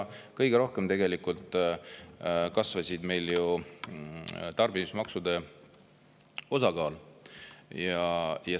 Kõige rohkem kasvas tegelikult ju tarbimismaksude osakaal.